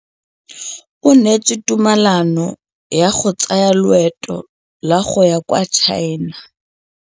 O neetswe tumalanô ya go tsaya loetô la go ya kwa China.